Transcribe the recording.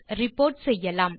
report செய்யலாம்